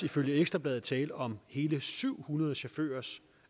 ifølge ekstra bladet tale om hele syv hundrede chaufførers